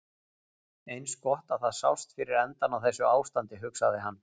Eins gott að það sást fyrir endann á þessu ástandi, hugsaði hann.